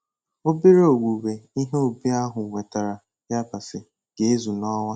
Obere owuwe ihe ubi ahụ wetara yabasị ga-ezu n'ọnwa.